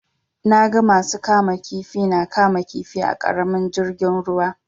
Na ga masu kama kifi na kama kifi a ƙaramin jirgin ruwa.